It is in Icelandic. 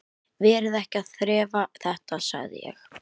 Verið ekki að þrefa þetta, sagði ég.